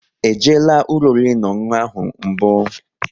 E jela ụlọ oriri na ọṅụṅụ ahụ mbụ?